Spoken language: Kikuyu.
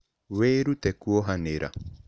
Wĩrute kuohanĩra.